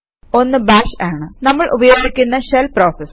ഒന്ന് ബാഷ് ആണ് നമ്മൾ ഉപയോഗിക്കുന്ന ഷെൽ പ്രോസസ്